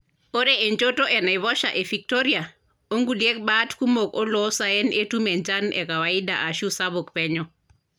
Ore enchoto enaiposha e Victoria, o nkulie bat kumok oloo saen etum enchan e kawaida ashu sapuk penyo.